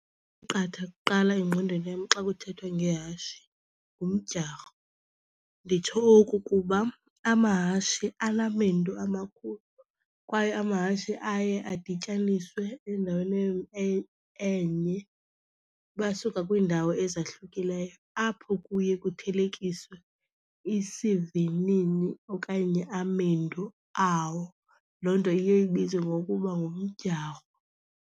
Qatha kuqala engqondweni yam xa kuthethwa ngehashe ngumdyarho. Nditsho oku kuba amahashe anamendu amakhulu kwaye amahashe aye adityaniswe endaweni enye basuka kwiindawo ezahlukileyo apho kuye kuthelekiswe isivinini okanye amendu awo. Loo nto iye ibizwe ngokuba ngumdyarho.